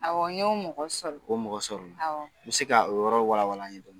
N y'o mɔgɔ sɔrɔ, o mɔgɔ sɔrɔla n mi se ka o yɔrɔ wala wala a ye dɔni